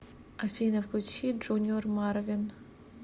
афина включи джуниор марвин